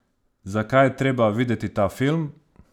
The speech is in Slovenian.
Zakaj je treba videti ta film?